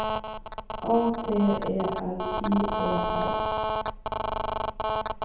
A T E L I E R